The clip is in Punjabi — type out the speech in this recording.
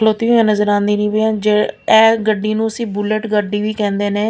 ਨਜ਼ਰ ਆਉਂਦੀ ਇਹ ਗੱਡੀ ਨੂੰ ਅਸੀਂ ਬੁਲਟ ਗੱਡੀ ਵੀ ਕਹਿੰਦੇ ਨੇ।